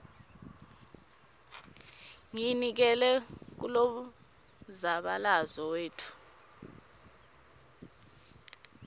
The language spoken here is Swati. ngiyinikele kulomzabalazo webantfu